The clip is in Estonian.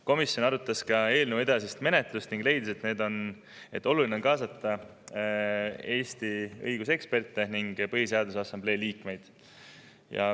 Komisjon arutas ka eelnõu edasist menetlust ja leidis, et oluline on kaasata Eesti õiguseksperte ning Põhiseaduse Assamblee liikmeid.